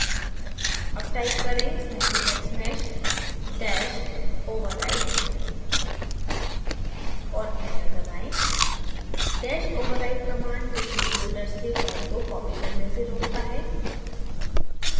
अब type करें snappyhexmeshdash overwrite और enter दबाएँdash overwrite command पिछले folders से फाइल को कॉपी करने से रोकता है